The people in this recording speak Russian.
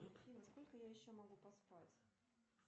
афина сколько я еще могу поспать